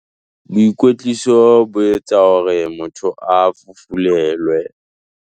Boikwetliso bo etsa hore motho a fufulelwe.